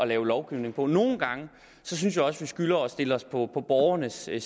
lave lovgivning på nogle gange synes jeg også at vi skylder at stille os på borgernes side